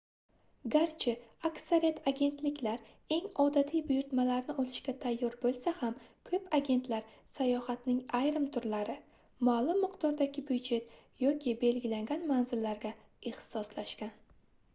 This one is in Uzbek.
garchi aksariyat agentliklar eng odatiy buyurtmalarni olishga tayyor boʻlsa ham koʻp agentlar sayohatning ayrim turlari maʼlum miqdordagi byudjet yoki belgilangan manzillarga ixtisoslashgan